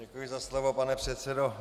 Děkuji za slovo, pane předsedo.